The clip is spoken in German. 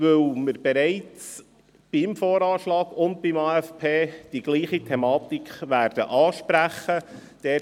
Dies, weil wir sowohl beim VA und beim AFP dieselbe Problematik ansprechen werden.